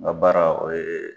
N k'a baara o ye